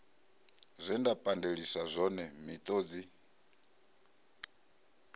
zwe nda pandeliswa zwone miṱodzi